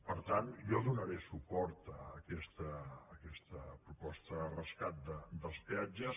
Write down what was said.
per tant jo donaré suport a aquesta proposta de rescat dels peatges